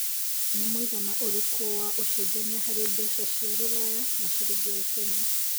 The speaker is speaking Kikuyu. ni mũigana ũrĩkũ wa ũcenjanĩa harĩ mbeca cĩa rũraya na cĩrĩngĩ ya Kenya